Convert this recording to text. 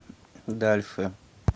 дальше